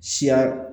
Siya